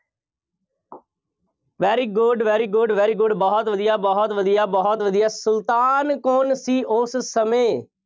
very good, very good, very good ਬਹੁਤ ਵਧੀਆ, ਬਹੁਤ ਵਧੀਆ, ਬਹੁਤ ਵਧੀਆ, ਸੁਲਤਾਨ ਕੌਣ ਸੀ ਉਸ ਸਮੇਂ।